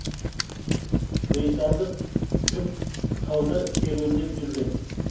британдық жұп тауда серуендеп жүрген